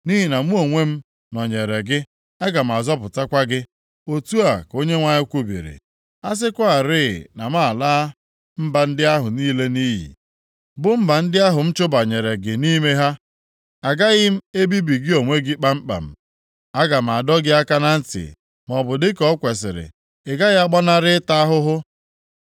Nʼihi na mụ onwe m nọnyeere gị, aga m azọpụtakwa gị,’ otu a ka Onyenwe anyị kwubiri. ‘A sịkwarị na m alaa mba ndị ahụ niile nʼiyi, bụ mba ndị ahụ m chụbanyere gị nʼime ha, agaghị m ebibi gị onwe gị kpamkpam. Aga m adọ gị aka na ntị maọbụ dịka o kwesiri, + 30:11 Dịka o ziri ezi nʼikpe ị gaghị agbanarị ịta ahụhụ.’